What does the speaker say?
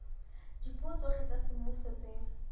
dipuo tsohle tsa semmuso tse